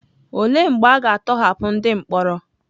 Olee mgbe a ga-atọhapụ ndị mkpọrọ?